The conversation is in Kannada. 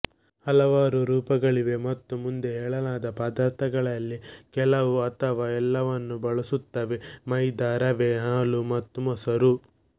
ಹಲವಾರು ರೂಪಗಳಿವೆ ಮತ್ತು ಮುಂದೆ ಹೇಳಲಾದ ಪದಾರ್ಥಗಳಲ್ಲಿ ಕೆಲವು ಅಥವಾ ಎಲ್ಲವನ್ನು ಬಳಸುತ್ತವೆ ಮೈದಾ ರವೆ ಹಾಲು ಮತ್ತು ಮೊಸರು